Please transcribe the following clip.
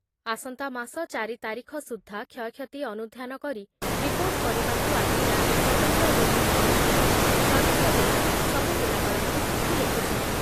ଆସନ୍ତାମାସ ଚାରି ତାରିଖ ସୁଦ୍ଧା କ୍ଷୟକ୍ଷତି ଅନୁଧ୍ଯାନ କରି ରିପୋର୍ଟ କରିବାକୁ ଆଜି ରାଜ୍ୟ ସ୍ଵତନ୍ତ୍ର ରିଲିଫ୍ କମିଶନର ପ୍ରଦୀପ ଜେନା ସବୁଜିଲ୍ଲାପାଳଙ୍କୁ ଚିଠି ଲେଖୁଛନ୍ତି